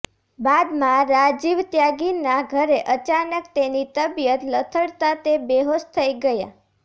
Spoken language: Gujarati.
બાદમાં રાજીવ ત્યાગીના ઘરે અચાનક તેની તબિયત લથડતાં તે બેહોશ થઈ ગયા